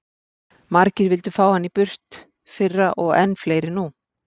Margir vildu fá hann í burt fyrra og enn fleiri nú.